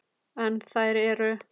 En þær eru